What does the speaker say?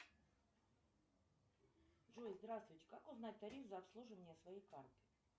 джой здравствуйте как узнать тариф за обслуживание своей карты